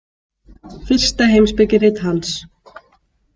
Fyrsta heimspekirit hans.